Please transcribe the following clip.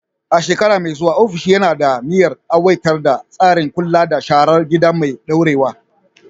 A shekara mai zuwa, ofishin yana da niyyar aiwatar da tsarin kula da sharar gida mai ɗorewa.